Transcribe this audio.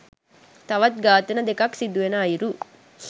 තවත් ඝාතන දෙකක් සිදුවෙන අයුරු.